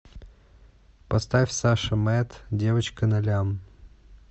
поставь саша мэд девочка на лям